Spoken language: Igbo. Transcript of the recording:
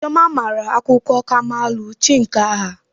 Chioma mara akuko kamalu chi nke agha.